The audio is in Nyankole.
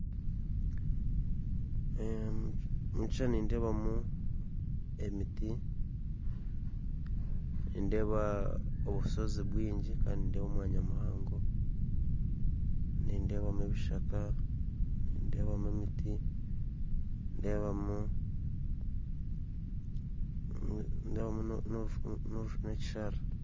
Omu kishuushani nindeebamu emiti nindeeba obushoozi bwingi kandi nindeeba omwanya muhango nindeebamu ebishaka nindeebamu emiti nindeebamu n'ekisharara